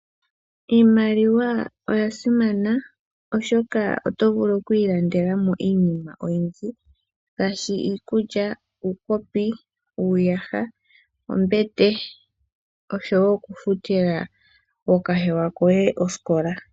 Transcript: Iimaliwa oya simana, oshoka oto vulu oku ilandela mo iinima oyindji ngaashi iikulya, uukopi, uuyaha, ombete osho wo okufutila ookahewa koye osikola.